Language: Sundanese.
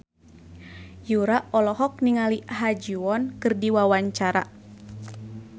Yura olohok ningali Ha Ji Won keur diwawancara